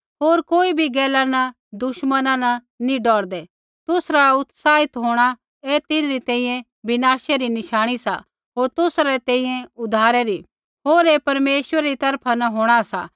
होर कोई भी गैला न दुश्मना न नी डौरदै तुसरा उत्साहित होंणा ऐ तिन्हरी तैंईंयैं विनाशा री नशाणी सा होर तुसा री तैंईंयैं उद्धारै री होर ऐ परमेश्वरा री तरफा न सा